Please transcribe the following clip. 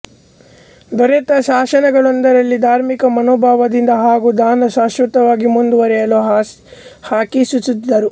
ದೊರೆತ ಶಾಸನಗಳೊಂದರಲ್ಲಿ ಧಾರ್ಮಿಕ ಮನೋಭಾವದಿಂದ ಹಾಗೂ ದಾನ ಶಾಶ್ವತವಾಗಿ ಮುಂದುವರೆಯಲು ಹಾಕಿಸುತ್ತಿದ್ದರು